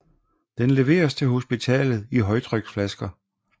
Den leveres til hospitalet i højtryksflasker